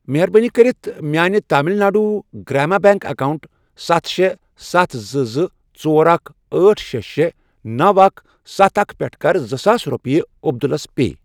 مہربٲنی کٔرتھ میانہِ تامِل ناڈوٗ گرٛاما بیٚنٛک اکاونٹ ستھَ، شے، ستھ، زٕ، زٕ، ژۄر، اکھَ، أٹھ، شے، شے، نوَ، اکھَ، ستھَ، اکھَ، پٮ۪ٹھٕ کَر زٕ ساس رۄپیہِ عبدُلس پے۔